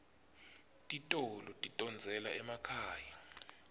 titolo tidondzela emakhaya